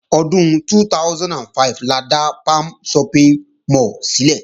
Ọdún 2005 la dá Palms Shopping mall sílẹ̀